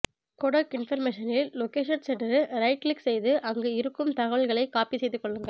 codec இன்பர்மேஷனில் location சென்று right click செய்து அங்கு இருக்கும் தகவல்களை காப்பி செய்து கொள்ளுங்கள்